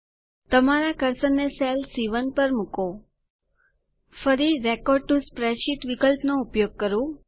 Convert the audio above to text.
તમારા કર્સરને સેલ સી1 પર મૂકો ફરી રેકોર્ડ ટીઓ સ્પ્રેડશીટ વિકલ્પ નો ઉપયોગ કરો